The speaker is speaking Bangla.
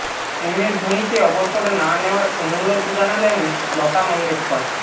এমএস ধোনিকে অবসর না নেওয়ার অনুরোধ জানালেন লতা মঙ্গেশকর